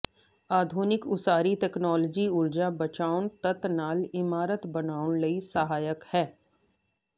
ਆਧੁਨਿਕ ਉਸਾਰੀ ਤਕਨਾਲੋਜੀ ਊਰਜਾ ਬਚਾਉਣ ਤੱਤ ਨਾਲ ਇਮਾਰਤ ਬਣਾਉਣ ਲਈ ਸਹਾਇਕ ਹੈ